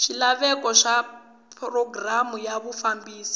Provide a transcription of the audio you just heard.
swilaveko swa programu ya vufambisi